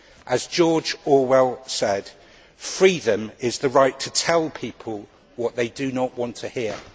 As George Orwell said, freedom is the right to tell people what they do not want to hear'.